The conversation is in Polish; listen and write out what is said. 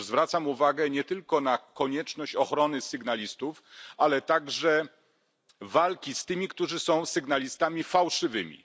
Otóż zwracam uwagę nie tylko na konieczność ochrony sygnalistów, ale także walki z tymi, którzy są sygnalistami fałszywymi.